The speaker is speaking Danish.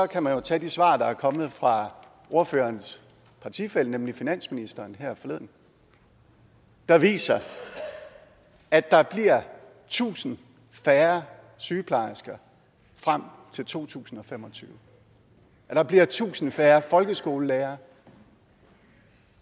kan man jo tage de svar der er kommet fra ordførerens partifælle nemlig finansministeren her forleden der viser at der bliver tusind færre sygeplejersker frem til to tusind og fem og tyve at der bliver tusind færre folkeskolelærere